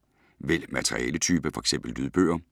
Vælg materialetype: F.eks. lydbøger